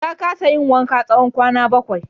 Ya kasa yin wanka tsawon kwana bakwai.